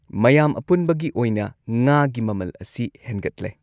ꯃꯌꯥꯝ ꯑꯄꯨꯟꯕꯒꯤ ꯑꯣꯏꯅ ꯉꯥꯒꯤ ꯃꯃꯜ ꯑꯁꯤ ꯍꯦꯟꯒꯠꯂꯦ꯫